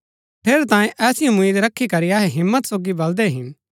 ठेरैतांये ऐसी उम्मीद रखी करी अहै हिम्मत सोगी बलदै हिन